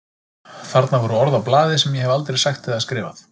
Þarna voru orð á blaði sem ég hef aldrei sagt eða skrifað.